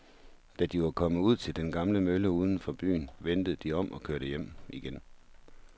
Da de var kommet ud til den gamle mølle uden for byen, vendte de om og kørte hjem igen.